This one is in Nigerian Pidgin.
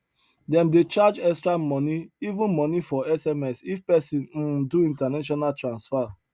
them dey charge extra money even money for sms if person um do international transfer